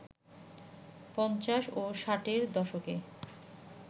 পঞ্চাশ ও ষাটের দশকে